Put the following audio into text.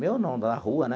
Meu não, da rua, né?